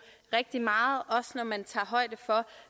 rigtig meget også når man tager højde for